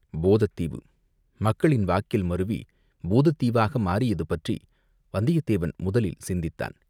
போதத் தீவு, மக்களின் வாக்கில் மருவிப் பூதத்தீவாக மாறியது பற்றி வந்தியத்தேவன் முதலில் சிந்தித்தான்.